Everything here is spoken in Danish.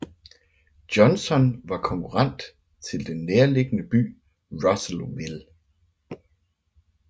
Johnson var konkurrent til den nærliggende by Russellville